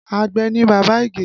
Àgbẹ̀ ni bàbá Ige